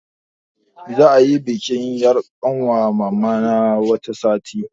Za'a yi bikin yar' ƙanwar mamana wata sati.